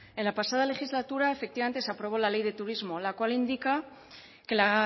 en la pasada legislatura efectivamente se aprobó la ley de turismo la cual indica que la